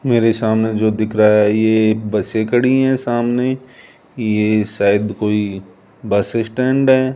मेरे सामने जो दिख रहा है ये एक बसे खड़ी है सामने ये शायद कोई बस स्टैंड है।